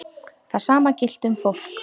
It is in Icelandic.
Það sama gilti um fólk.